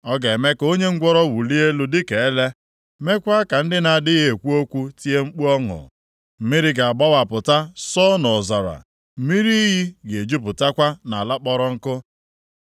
Ọ ga-eme ka onye ngwụrọ wulie elu dịka ele, meekwa ka ndị na-adịghị ekwu okwu tie mkpu ọṅụ. Mmiri ga-agbawapụta sọọ nʼọzara, mmiri iyi ga-ejupụtakwa nʼala kpọrọ nkụ.